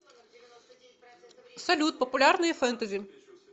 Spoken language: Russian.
салют популярные фентези